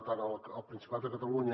tant al principat de catalunya